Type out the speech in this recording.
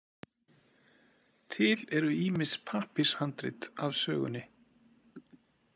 Til eru ýmis pappírshandrit af sögunni.